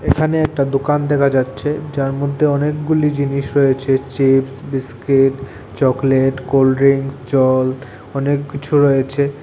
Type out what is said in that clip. এখানে একটা দোকান দেখা যাচ্ছে যার মধ্যে অনেকগুলি জিনিস রয়েছে চিপস্ বিস্কিট চকলেট কোলড্রিংকস জল অনেককিছু রয়েছে।